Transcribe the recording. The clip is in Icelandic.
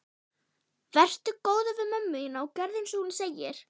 Vertu góður við mömmu þína og gerðu einsog hún segir.